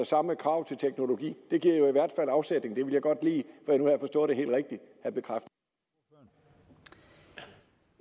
samme krav til teknologi det giver jo i hvert fald afsætning og jeg vil godt lige have bekræftet at